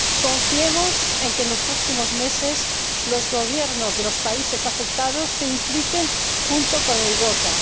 Confiemos en que, en los próximos meses, los gobiernos de los países afectados se impliquen junto con Europa.